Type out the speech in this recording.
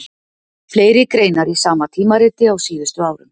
Fleiri greinar í sama tímariti á síðustu árum.